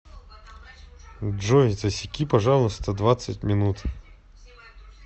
джой засеки пожалуйста двадцать минут